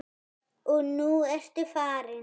Og nú ertu farin.